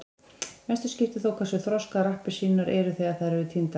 mestu skiptir þó hversu þroskaðar appelsínurnar eru þegar þær eru tíndar